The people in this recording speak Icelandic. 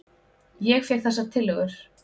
Ég fékk þessar tillögur.